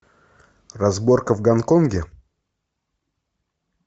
разборка в гонконге